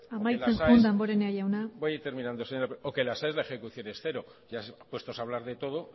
amaitzen joan damborenea jauna voy terminando señora presidenta o que en las aes la ejecución es cero ya puestos a hablar de todo